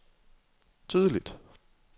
tydeligt